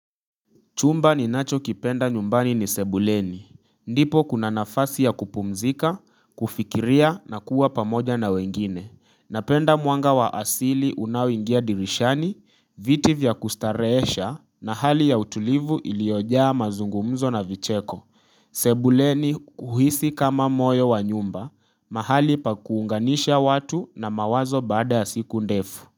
Chumba ni nacho kipenda nyumbani ni sebuleni. Ndipo kuna nafasi ya kupumzika, kufikiria na kuwa pamoja na wengine. Napenda mwanga wa asili unaoingia dirishani, viti vya kustarehesha na hali ya utulivu iliyojaa mazungumzo na vicheko. Sebuleni uhisi kama moyo wa nyumba, mahali pa kuunganisha watu na mawazo baada ya siku ndefu.